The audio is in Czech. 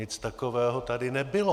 Nic takového tady nebylo.